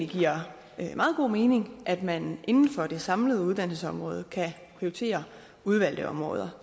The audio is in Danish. giver meget god mening at man inden for det samlede uddannelsesområde kan prioritere udvalgte områder